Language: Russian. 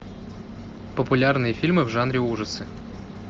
популярные фильмы в жанре ужасы